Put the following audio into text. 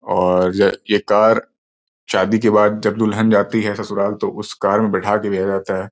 और ये कार शादी के बाद जब दुल्हन जाती है ससुराल तो उस कार में बैठा के भेजा जाता है।